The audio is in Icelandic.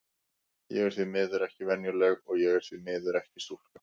Ég er því miður ekki venjuleg, og ég er því miður ekki stúlka.